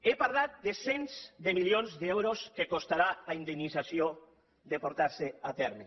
he parlat de cents de milions d’euros que costarà la indemnització si es porta a terme